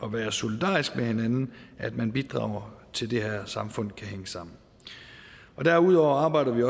at være solidarisk med hinanden at man bidrager til at det her samfund kan hænge sammen derudover arbejder vi